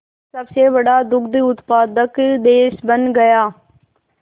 सबसे बड़ा दुग्ध उत्पादक देश बन गया